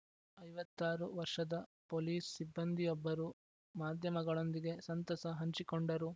ಐವತ್ತ್ ಆರು ವರ್ಷದ ಪೊಲೀಸ್‌ ಸಿಬ್ಬಂದಿಯೊಬ್ಬರು ಮಾಧ್ಯಮಗಳೊಂದಿಗೆ ಸಂತಸ ಹಂಚಿಕೊಂಡರು